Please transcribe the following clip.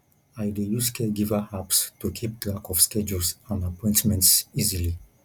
i dey use caregiver apps to keep track of schedules and appointments easily